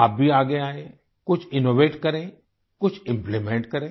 आप भी आगे आएं कुछ इनोवेट करें कुछ इम्प्लीमेंट करें